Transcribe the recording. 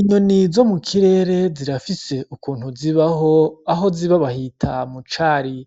Inyoni zo mu kirere zirafise ukuntu zibaho, aho ziba bahita mu cari.